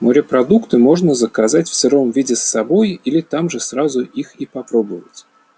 морепродукты можно заказать в сыром виде с собой или там же сразу их и попробовать